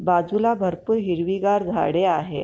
बाजूला भरपूर हिरवीगार झाडे आहे.